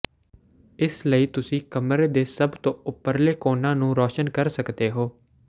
ਇਸ ਲਈ ਤੁਸੀਂ ਕਮਰੇ ਦੇ ਸਭ ਤੋਂ ਉੱਪਰਲੇ ਕੋਨਾਂ ਨੂੰ ਰੋਸ਼ਨ ਕਰ ਸਕਦੇ ਹੋ